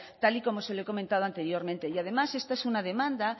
tal y como se lo he comentado anteriormente y además esta es una demanda